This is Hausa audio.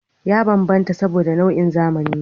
Ya bambanta saboda, nau'in zamani ne